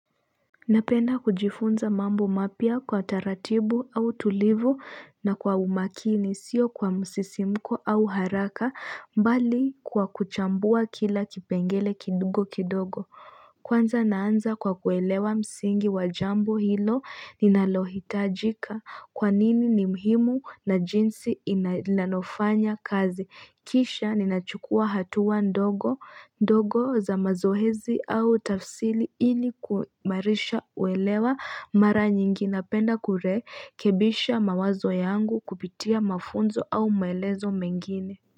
Napenda kujifunza mambo mapya kwa taratibu au tulivu, na kwa umakini, siyo kwa msisimuko au haraka bali kwa kuchambua kila kipengele kidogo kidogo Kwanza naanza kwa kuelewa msingi wa jambo hilo, ninalohitajika kwa nini ni muhimu na jinsi inalofanya kazi. Kisha ninachukua hatua ndogo, za mazoezi au tafsri ili kuimarisha uelewa mara nyingi napenda kurekebisha mawazo yangu kupitia mafunzo au maelezo mengine.